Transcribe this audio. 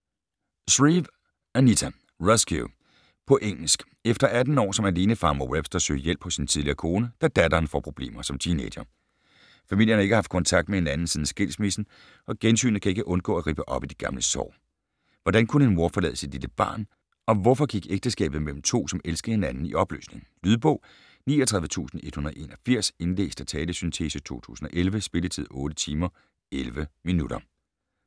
Shreve, Anita: Rescue På engelsk. Efter 18 år som alenefar må Webster søge hjælp hos sin tidligere kone, da datteren får problemer som teenager. Familien har ikke haft kontakt med hinanden siden skilsmissen, og gensynet kan ikke undgå at rippe op i de gamle sår. Hvordan kunne en mor forlade sit lille barn, og hvorfor gik ægteskabet mellem to som elskede hinanden i opløsning? Lydbog 39181 Indlæst af talesyntese, 2011. Spilletid: 8 timer, 11 minutter.